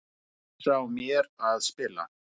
Pressa á mér að spila